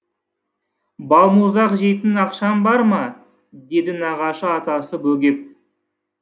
балмұздақ жейтін ақшаң бар ма деді нағашы атасы бөгеп